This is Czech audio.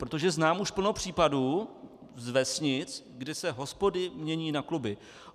Protože znám už plno případů z vesnic, kdy se hospody mění na kluby.